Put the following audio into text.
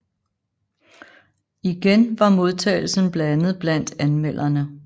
Igen var modtagelsen blandet blandt anmelderne